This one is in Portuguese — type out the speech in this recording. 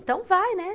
Então vai, né?